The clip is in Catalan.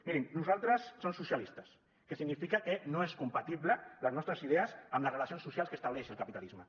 mirin nosaltres som socialistes que significa que no són compatibles les nostres idees amb les relacions socials que estableix el capitalisme